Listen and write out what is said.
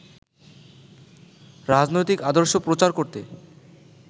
রাজনৈতিক আদর্শ প্রচার করতে